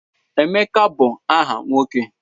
Emeka bụ aha nwoke.